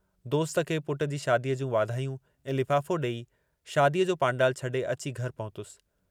दोस्त खे पुट जी शादीअ जूं वाधायूं ऐं लिफ़ाफ़ो ॾेई, शादीअ जो पांडालु छॾे अची घर पहुतुसि।